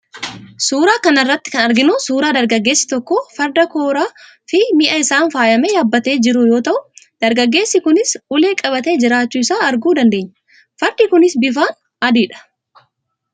Suuraa kana irratti kan arginu suuraa dargaggeessi tokko farda kooraa fi mi'a isaan faayame yaabbatee jiru yoo tau, dargaggeessi kunis ulee qabatee jiraachuu isaa arguu dandeenya. Fardi kunis bifaan adiidha.